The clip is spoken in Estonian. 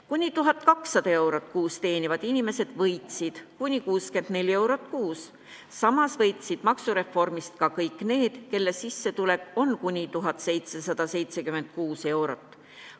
Kuni 1200 eurot kuus teenivad inimesed võitsid kuni 64 eurot kuus, samas võitsid maksureformist ka kõik need, kelle sissetulek on kuni 1776 eurot.